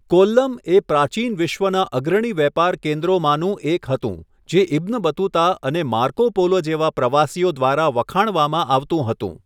કોલ્લમ એ પ્રાચીન વિશ્વના અગ્રણી વેપાર કેન્દ્રોમાંનું એક હતું, જે ઇબ્ન બતુતા અને માર્કો પોલો જેવા પ્રવાસીઓ દ્વારા વખાણવામાં આવતું હતું.